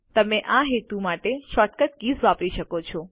તમે આ હેતુ માટે શોર્ટકટ કીઝ વાપરી શકો છો